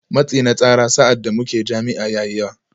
Matsi na tsara sa’ad da muke jami’a ya yi yawa